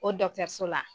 O la